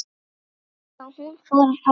Og já, hún fór áfram!!